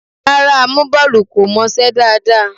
Rárá, amúbọ́ọlù kò mọṣẹ́ dáadáa.